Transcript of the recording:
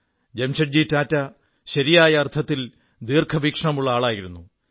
ജാംഷെഡ്ജി ടാറ്റ ശരിയായ അർഥത്തിൽ ദീർഘവീക്ഷണമുള്ള ആളായിരുന്നു